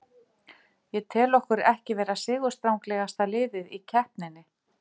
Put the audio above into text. Ég tel okkur ekki vera sigurstranglegasta liðið í keppninni.